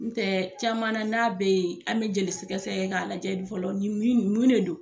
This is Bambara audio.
N tɛ caman na n'a bɛ ye an bɛ jeli sɛg sɛgɛ kɛ lajɛ fɔlɔ ni min no mun de do.